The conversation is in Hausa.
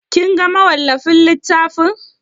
Kin ga mawallafin littafin?